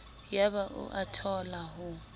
yaba o a thola ho